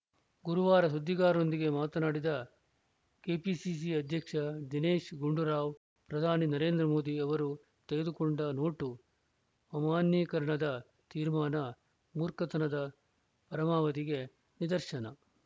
ಗುರುವಾರ ಸುದ್ದಿಗಾರರೊಂದಿಗೆ ಮಾತನಾಡಿದ ಕೆಪಿಸಿಸಿ ಅಧ್ಯಕ್ಷ ದಿನೇಶ್‌ ಗುಂಡೂರಾವ್‌ ಪ್ರಧಾನಿ ನರೇಂದ್ರ ಮೋದಿ ಅವರು ತೆಗೆದುಕೊಂಡ ನೋಟು ಅಮಾನ್ಯೀಕರಣದ ತೀರ್ಮಾನ ಮೂರ್ಖತನದ ಪರಮಾವಧಿಗೆ ನಿದರ್ಶನ